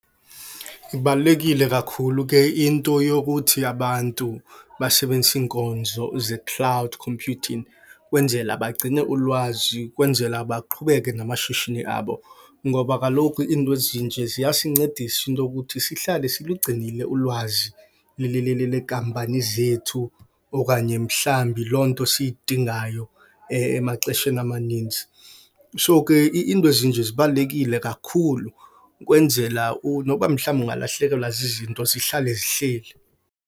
Ibalulekile kakhulu ke into yokuthi abantu basebenzise iinkonzo ze-cloud computing kwenzela bagcine ulwazi, kwenzela baqhubeke namashishini abo. Ngoba kaloku into ezinje ziyasincedisa into okuthi sihlale silugcinile ulwazi lekampani zethu okanye mhlambi loo nto siyidingayo emaxesheni amaninzi. So, ke iinto ezinje zibalulekile kakhulu kwenzela noba mhlawumbi ungalahlekelwa zizinto zihlale zihleli.